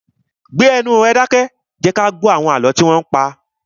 Gbé ẹnu rẹ dákẹ́! Jẹ kí a gbó àlọ́ tí wọn ń pa!